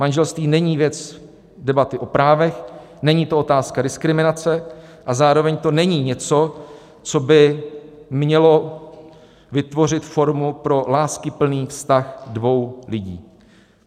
Manželství není věc debaty o právech, není to otázka diskriminace a zároveň to není něco, co by mělo vytvořit formu pro láskyplný vztah dvou lidí.